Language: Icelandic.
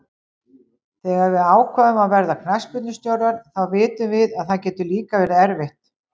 Þegar við ákveðum að verða knattspyrnustjórar þá vitum við að það getur líka verið erfitt.